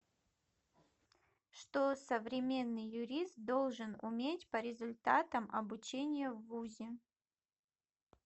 что современный юрист должен уметь по результатам обучения в вузе